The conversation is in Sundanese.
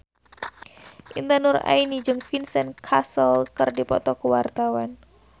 Intan Nuraini jeung Vincent Cassel keur dipoto ku wartawan